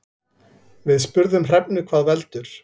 Við spurðum Hrefnu hvað veldur.